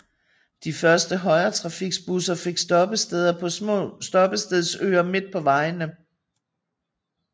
De første højretrafikbusser fik stoppesteder på små stoppestedsøer midt på vejene